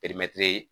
Perimɛtiri